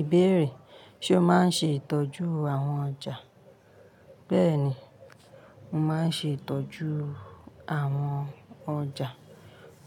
Ìbéèrè: Ṣé o máa ń ṣe ìtọ́jú àwọn ọjà? Béèni, mo máa ń ṣe ìtọ́jú àwọn ọjà,